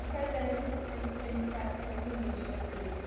E quais eram os principais costumes de vocês, assim?